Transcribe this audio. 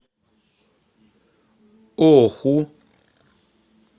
оху